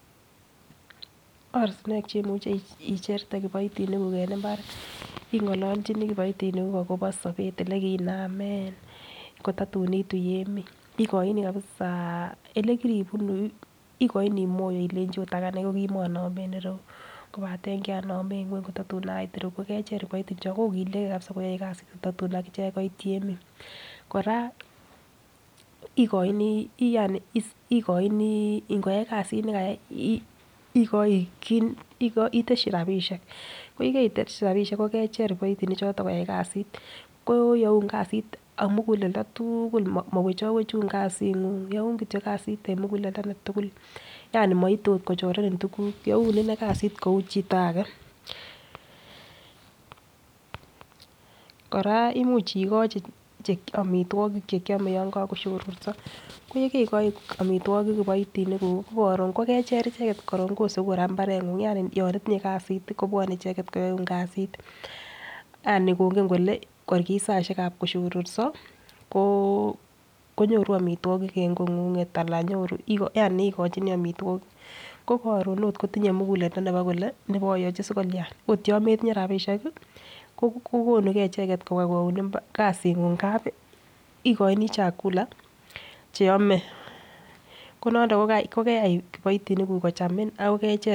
Ortinwek cheimuche cheimuche icherte kipoitinik kuuk en inbar, ingololjinii kipoitinik kuuk akobo sobet ele kiinamen kotatu iitu temik ikoini kabisa olekiribunu ikoini moto ilenchi it aganee ko komonome en irou kopaten kinome ngweny kotatun asitu iroyuu. Ko kecher kiboitinik chon kokiligee koyoe kasit kotatu akichek koit temik. Koraa ikoini yani ikoini ikoyai kasit nekayai ikoi kit iteshi rabishek, ko yekeiteshi rabishek ko kecher boitinik choton koyai kasit koyoun kasit ak muguleldo tuukul mawechowechun kasinguny youn kityok kait en mukuleldo netukul yani moite ot kochoreni tukuk you ine kasit kou chito age. Koraa imuch ikochi omitwokik chekiome yon kokoshoroso ko yekekoi omitwokik kiboitinik kuk kii ko korun kokocher icheket korom koseku Koraa imbarenguny yani yo itinye kasit kobwone icheket koyoun kasit , yani kongen kole kor kit saishek kab koshororso ko konyoru omitwokik en kongunget ana nyoru yani ikochinii omitwokik, ko korun it kotinye muguleldo kole nabayochi sikolia. Ot yon metinyee rabishek kii ko kokonugee icheket nkobwa koyoun imbar kuyoun kasinguny ngapi ikoini chakula cheome konondo kokeyai kipoitinik kuuk kuchamin akor kech.